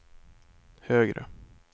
högre